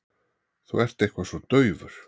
Þú ert eitthvað svo daufur.